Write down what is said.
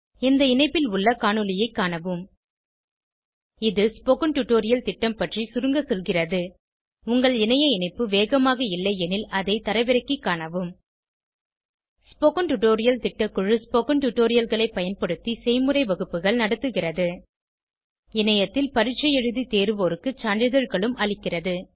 இந்த இணைப்பில் உள்ள காணொளியைக் காணவும் இது ஸ்போகன் டுடோரியல் திட்டம் பற்றி சுருங்க சொல்கிறது உங்கள் இணைய இணைப்பு வேகமாக இல்லையெனில் அதை தரவிறக்கிக் காணவும் ஸ்போகன் டுடோரியல் திட்டக்குழு ஸ்போகன் டுடோரியல்களைப் பயன்படுத்தி செய்முறை வகுப்புகள் நடத்துகிறது இணையத்தில் பரீட்சை எழுதி தேர்வோருக்கு சான்றிதழ்களும் அளிக்கிறது